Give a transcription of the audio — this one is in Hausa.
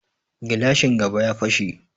Gilashin gaba ya fashe